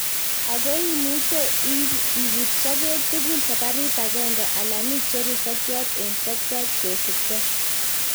Ago imuche ibut sokek tuguk saparit agenge alan icheru sokyot en sokyot kosipkei.